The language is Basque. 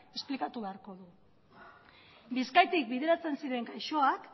esplikatu beharko du bizkaitik bideratzen ziren gaixoak